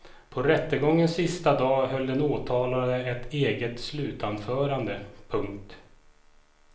På rättegångens sista dag höll den åtalade ett eget slutanförande. punkt